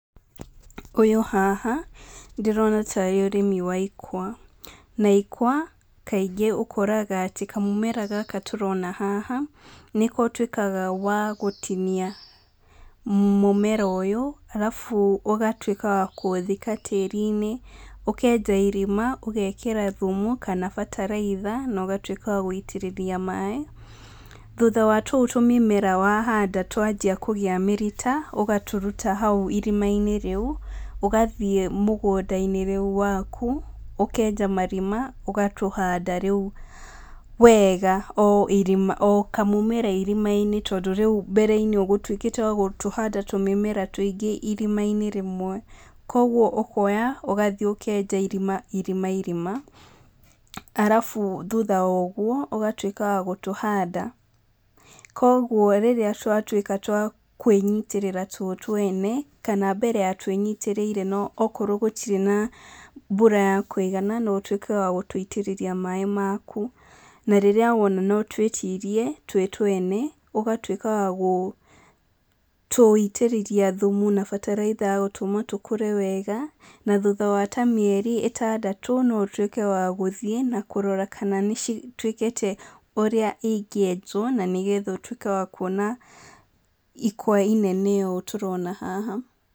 Ũyũ haha, ndĩrona tarĩ ũrĩmi wa ikwa. Na ikwa, kaingĩ ũkoraga atĩ kamũmera gaka tũrona haha, nĩko ũtuĩkaga wa gũtinia. Mũmera ũyũ, arabu ũgatuĩka wa kũũthika tĩri-inĩ, ũkenja irima, ũgekĩra thumu, kana bataraitha, na ũgatuĩka wa gũitĩrĩria maĩ. Thutha wa tũu tũmĩmera wahanda twanjia kũgĩa mĩrita, ũgatũruta hau irima-inĩ rĩu, ũgathiĩ mũgũnda-inĩ rĩu waku, ũkenja marima, ũgatũhanda rĩu wega o irima o kamũmera irima-inĩ tondũ rĩu mbere-inĩ ũgũtuĩkĩte wa gũtũhanda tũmĩmera tũingĩ irima-inĩ rĩmwe. Koguo ũkoya ũgathi ũkenja irima irima irima, arabu thutha wa ũguo, ũgatuĩka wa gũtũhanda. Koguo rĩrĩa twatuĩka twa kwĩnyitĩrĩra tuo twene, kana mbere ya twĩnyitĩrĩire okorwo gũtirĩ na mbura ya kũigana, no ũtuĩke wa gũtũitĩrĩria maĩ maku. Na rĩrĩa wona no twĩtirie tuo twene, ũgatuĩka wa gũtũitĩrĩria thumu na bataraitha gũtũma tũkũre wega, na thutha wa ta mĩeri ĩtandatũ, no ũtuĩke wa gũthiĩ, na kũrora kana nĩ citũĩkĩte ũrĩa ingĩenjwo, na nĩgetha ũtuĩke wa kuona ikwa inene ũũ tũrona haha.